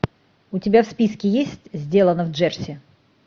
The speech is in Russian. у тебя в списке есть сделано в джерси